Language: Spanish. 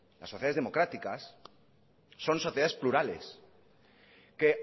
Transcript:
las sociedades democráticas son sociedades plurales que